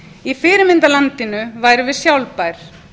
í fyrirmyndarlandinu værum við sjálfbær